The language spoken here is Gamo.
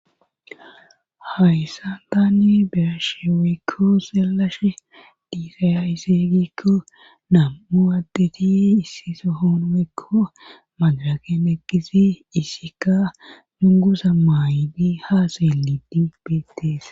Hayssan tanni berashewekko selashe diisaya iseeygikko nam7u addeti issiso hoonwekko magrakem eqkisi isika nungusa maayidi haasayeli di betees.